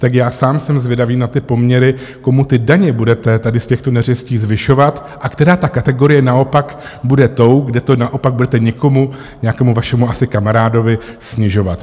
Tak já sám jsem zvědavý na ty poměry, komu ty daně budete tady z těchto neřestí zvyšovat a která ta kategorie naopak bude tou, kde to naopak budete někomu, nějakému vašemu asi kamarádovi, snižovat.